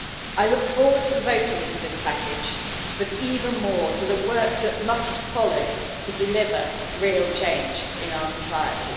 I look forward to voting for this package, but even more to the work that must follow to deliver real change in our society.